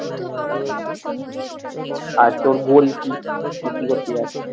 আর তোর goal কি? তুই কি করতে চাস?